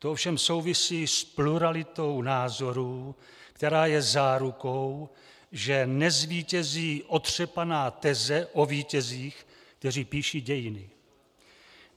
To ovšem souvisí s pluralitou názorů, která je zárukou, že nezvítězí otřepaná teze o vítězích, kteří píší dějiny.